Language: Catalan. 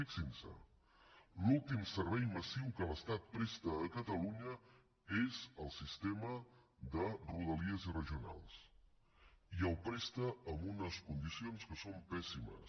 fixin se l’últim servei massiu que l’estat presta a catalunya és el sistema de rodalies i regionals i el presta en unes condicions que són pèssimes